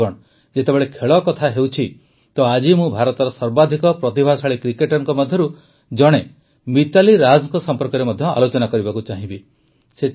ବନ୍ଧୁଗଣ ଯେତେବେଳେ ଖେଳ କଥା ହେଉଛି ତ ଆଜି ମୁଁ ଭାରତର ସର୍ବାଧିିକ ପ୍ରତିଭାଶାଳୀ କ୍ରିକେଟରଙ୍କ ମଧ୍ୟରୁ ଜଣେ ମିତାଲି ରାଜଙ୍କ ସମ୍ପର୍କରେ ମଧ୍ୟ ଆଲୋଚନା କରିବାକୁ ଚାହିଁବି